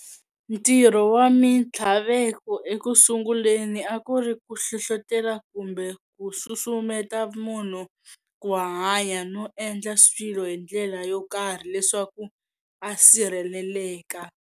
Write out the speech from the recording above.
Ntirho wa minthlaveko ekusunguleni akuri ku hlohlotela kumbe ku susumeta munhu ku hanya no endla swilo hindlela yo karhi leswaku a sirheleleka.